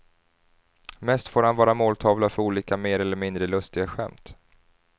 Mest får han vara måltavla för olika mer eller mindre lustiga skämt.